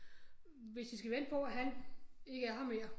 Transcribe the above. Hvis I skal vente på at han ikke er her mere